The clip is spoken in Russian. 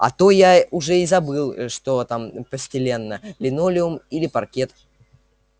а то я уже и забыл что там постелено линолеум или паркет